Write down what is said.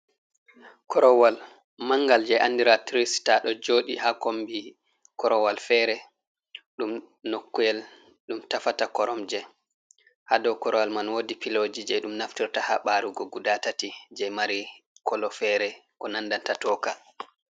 Korowal mangal je andira tri sita ɗo joɗi ha kombi korowal fere, ɗum nokuwel ɗum tafata koromje, ha dou korowal man wodi piloji je ɗum naftorta ha ɓarugo guda tati je mari kolo fere ko nandata tooka.